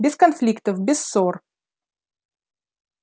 без конфликтов без ссор